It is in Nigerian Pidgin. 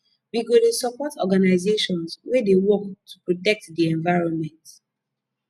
we go dey support organisations wey dey work to protect di environment